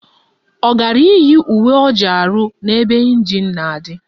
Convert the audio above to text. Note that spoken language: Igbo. Ọ gara iyi uwe ọrụ o ji arụ n'ebe ịnjin na-adị?